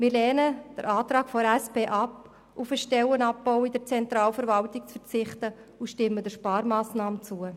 Wir lehnen den Antrag der SP ab, wonach auf Stellenabbau in der Zentralverwaltung zu verzichten sei und stimmen der Sparmassnahme zu.